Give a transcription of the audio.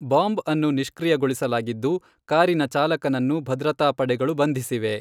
Bomb ಅನ್ನು ನಿಷ್ಕ್ರಿಯಗೊಳಿಸಲಾಗಿದ್ದು, ಕಾರಿನ ಚಾಲಕನನ್ನು ಭದ್ರತಾ ಪಡೆಗಳು ಬಂಧಿಸಿವೆ.